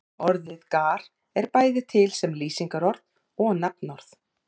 Orðið gar er bæði til sem lýsingarorð og nafnorð.